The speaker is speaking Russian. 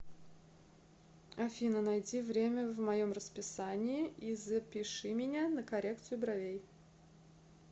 афина найди время в моем расписании и запиши меня на коррекцию бровей